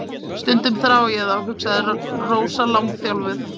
Stundum þrái ég þá, hugsaði Rósa langþjálfuð.